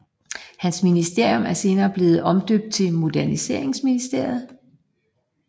Hans ministerium blev senere omdøbt til Moderniseringsministeriet